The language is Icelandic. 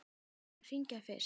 Við skulum hringja fyrst.